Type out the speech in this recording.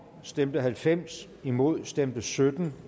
stemte halvfems imod stemte sytten